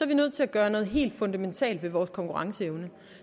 vi nødt til at gøre noget helt fundamentalt ved vores konkurrenceevne